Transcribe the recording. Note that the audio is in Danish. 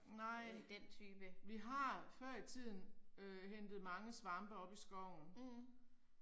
Nej. Vi har før i tiden øh hentet mange svampe oppe i skoven